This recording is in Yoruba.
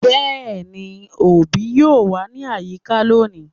Yes, the parent would be around today